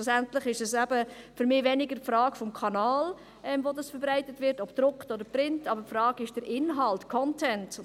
Schlussendlich ist es für mich eben weniger die Frage des Kanals, über den sie verbreitet wird, ob gedruckt oder print, sondern eine Frage des Inhalts, des Contents;